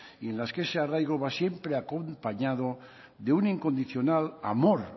y en las que ese arraigo va siempre acompañado de un incondicional amor